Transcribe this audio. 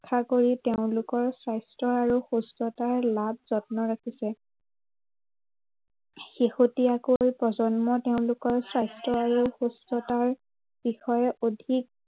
আশা কৰি তেওঁলোকৰ স্বাস্থ্য় আৰু সুস্থতাৰ লাভ যত্ন ৰাখিছে। শেহতীয়াকৈ প্ৰজন্ম তেওঁলোকৰ স্বাস্থ্য় আৰু সুস্থতাৰ বিষয়ে অধিক